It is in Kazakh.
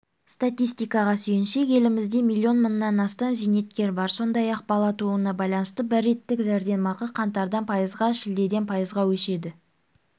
статистикаға сүйенсек елімізде миллион мыңнан астам зейнеткер бар сондай-ақ бала тууына байланысты бір реттік жәрдемақы қаңтардан пайызға шілдеден пайызға өседі